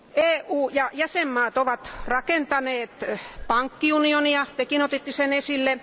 EU ja jäsenvaltiot ovat rakentaneet pankkiunionia Tekin otitte sen esille.